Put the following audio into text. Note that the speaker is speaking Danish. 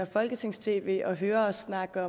folketings tv og hører os snakke